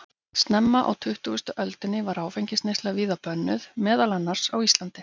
Snemma á tuttugustu öldinni var áfengisneysla víða bönnuð, meðal annars á Íslandi.